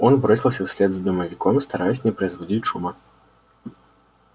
он бросился вслед за домовиком стараясь не производить шума